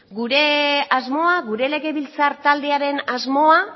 gure asmoa gure legebiltzar taldearen asmoa